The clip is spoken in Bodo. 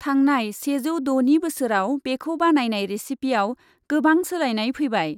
थांनाय सेजौ द'नि बोसोराव बेखौ बानायनाय रेसिपिआव गोबां सोलायनाय फैबाय।